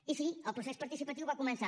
i sí el procés participatiu va començar